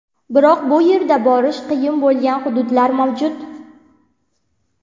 Biroq bu yerda borish qiyin bo‘lgan hududlar mavjud.